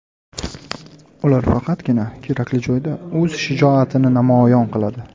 Ular faqatgina kerakli joyda o‘z shijoatini namoyon qiladi.